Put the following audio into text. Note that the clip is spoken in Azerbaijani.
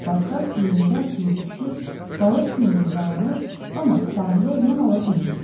Barkas yerində atılıb düşür, balıq kimi yırğalanır, amma sahilə yana bilmirdi.